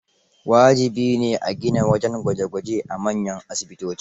Wajibi ne a gina wajen gwaje-gwaje a manyan asibitoci.